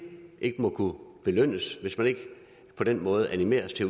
ikke må kunne belønnes hvis man ikke på den måde animeres til